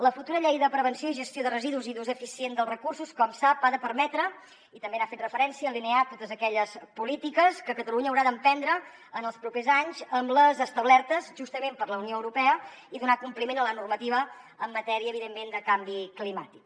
la futura llei de prevenció i gestió de residus i d’ús eficient dels recursos com sap ha de permetre i també n’ha fet referència alinear totes aquelles polítiques que catalunya haurà d’emprendre en els propers anys amb les establertes justament per la unió europea i donar compliment a la normativa en matèria evidentment de canvi climàtic